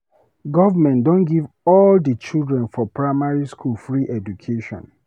Government don give all di children for primary school free education.